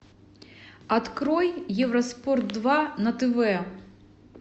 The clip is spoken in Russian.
открой евроспорт два на тв